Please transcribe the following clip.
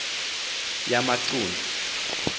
yamacunu